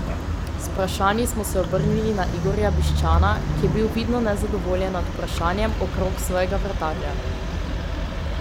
S vprašanji smo se obrnili na Igorja Bišćana, ki je bil vidno nezadovoljen nad vprašanjem okrog svojega vratarja.